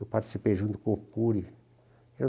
Eu participei junto com o Cury.